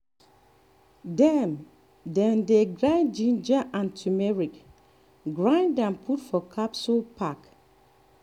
dem dem dey dry ginger and turmeric grind am put for capsule pack